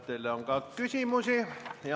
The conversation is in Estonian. Teile on ka küsimusi.